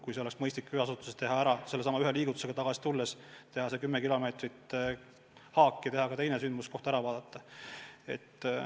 Asi oleks mõistlik ära teha ühe käiguga, näiteks tagasi tulles teha 10-kilomeetrime haak ja ka teine sündmuskoht üle vaadata.